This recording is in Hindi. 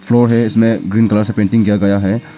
है इसमें ग्रीन कलर से पेंटिंग किया गया है।